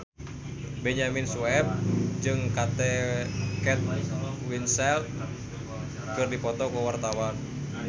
Benyamin Sueb jeung Kate Winslet keur dipoto ku wartawan